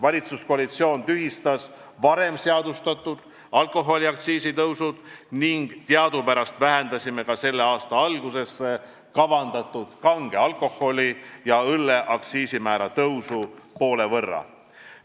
Valitsuskoalitsioon tühistas varem seadustatud alkoholiaktsiisi tõusud ning teadupärast vähendasime ka selle aasta alguseks kavandatud kange alkoholi ja õlle aktsiisimäära tõusu poole võrra.